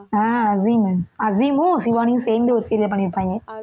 ஆஹ் அசீம் அசீமும் ஷிவானியும் சேர்ந்து ஒரு serial பண்ணியிருப்பாங்க